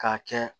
K'a kɛ